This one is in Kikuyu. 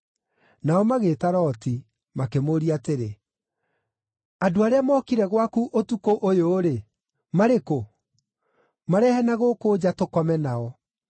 Nao magĩĩta Loti, makĩmũũria atĩrĩ, “Andũ arĩa mookire gwaku ũtukũ ũyũ-rĩ, marĩ-kũ? Marehe na gũkũ nja, tũkome nao.”